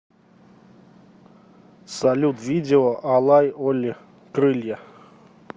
салют видео алай оли крылья